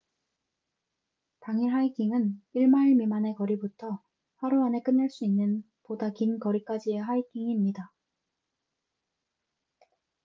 당일 하이킹은 1마일 미만의 거리부터 하루 안에 끝낼 수 있는 보다 긴 거리까지의 하이킹입니다